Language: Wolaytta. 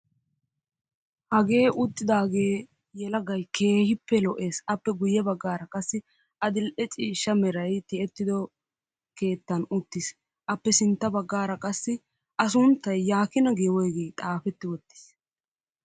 Hagee uttidaagee yelagayi keehippe lo'es. Apple guyye baggaara qassi adill'e ciishsha merayi tiyetti uttido keettan uttis. Appe sintta baggaara qassi a sunttayi yaakina gii woygii xaafetti wottis.